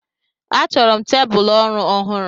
A chọrọ m tebụl ọrụ ọhụrụ.